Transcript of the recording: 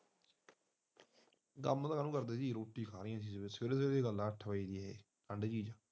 ਕੰਮ ਕਾਹਤੇ ਕਰਨਾ ਸਵੇਰੇ ਸਵੇਰੇ ਦੀ ਗੱਲ ਐ ਠੰਢ ਦੀ